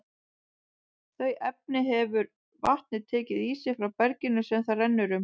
Þau efni hefur vatnið tekið í sig frá berginu sem það rennur um.